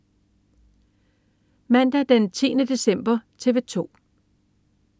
Mandag den 10. december - TV 2: